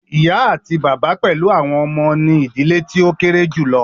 Ìyá àti bàbá pẹlú àwọn ọmọ ní ìdílé tí o kéré julọ.